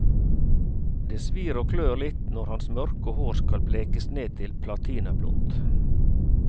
Det svir og klør litt når hans mørke hår skal blekes ned til platinablondt.